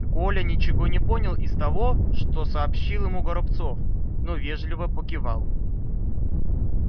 коля ничего не понял из того что сообщил ему горобцов но вежливо покивал